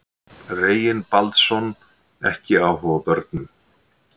Reginbaldsson ekki áhuga á börnum.